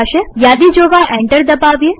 યાદી જોવા એન્ટર દબાવીએ